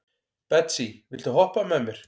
Betsý, viltu hoppa með mér?